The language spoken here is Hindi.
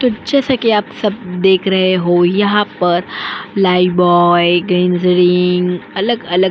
तो जैसा कि आप सब देख रहे हो यहाँ पर लाइबॉय ग्रीनज़रिंग अलग अलग --